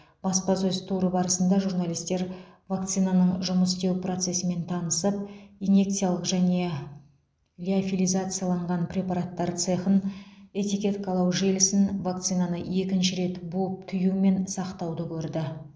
баспасөз туры барысында журналистер вакцинаның жұмыс істеу процесімен танысып инъекциялық және лиофилизацияланған препараттар цехын этикеткалау желісін вакцинаны екінші рет буып түю мен сақтауды көрді